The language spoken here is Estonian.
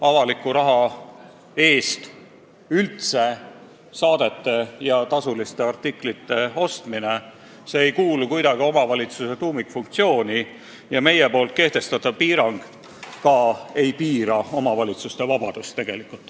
Avaliku raha eest saadete ja tasuliste artiklite ostmine ei kuulu kuidagi omavalitsuse tuumikfunktsioonide hulka, samas ei piiraks meie pakutud muudatus omavalitsuste üldist vabadust.